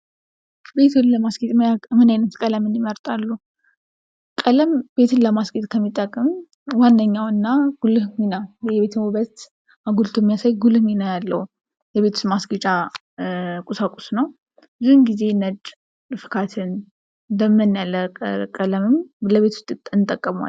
ቤትዎን ለማስጌጥ ምን አይነት ቀለም ይመርጣሉ? ቀለም ቤትን ለማስጌጥ ከሚጠቅሙ ዋና ዋና እና ጉልህ ሚና ለቤትዎ ዉበት አጉቶ የሚያሳይ ጉልህ ሚና ያለው ነው። የቤቶች ማስገጫ ቁሳቁስ ነው። ብዙውን ጊዜ ፍካትን፣ ድምን ያለ ቀለምም ለቤት ውስጥ እንጠቀመዋለን።